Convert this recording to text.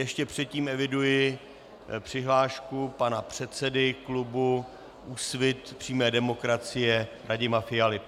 Ještě předtím eviduji přihlášku pana předsedy klubu Úsvit přímé demokracie Radima Fialy.